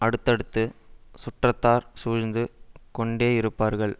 அடுத்தடுத்துச் சுற்றத்தார் சூழ்ந்து கொண்டேயிருப்பார்கள்